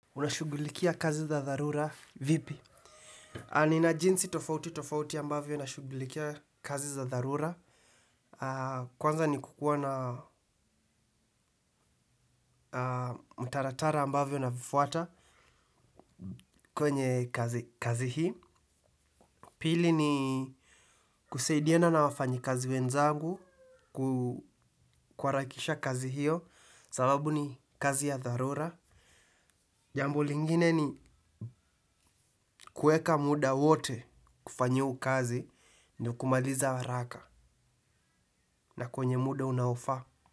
Unashughulikia kazi za dharura vipi? Nina jinsi tofauti tofauti ambavyo ninashughulikia kazi za dharura. Kwanza ni kukuwa na mtaratara ambavyo navifuata kwenye kazi hii. Pili ni kusaidiana na wafanyikazi wenzangu kuharakisha kazi hiyo sababu ni kazi ya dharura. Jambo lingine ni kuweka muda wote kufanya hiyo kazi na kumaliza haraka na kwenye muda unaofaa.